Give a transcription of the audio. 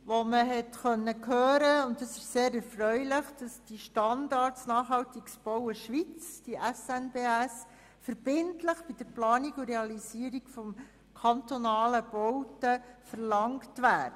Diesbezüglich konnte man hören – und dies ist sehr erfreulich –, dass der Standard Nachhaltiges Bauen Schweiz (SNBS) verbindlich bei der Planung und Realisierung von kantonalen Bauten verlangt wird.